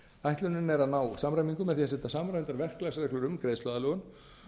ætlunin er að ná samræmingu með því að setja samræmdar verklagsreglur um greiðsluaðlögun